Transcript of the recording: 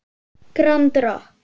Grand Rokk.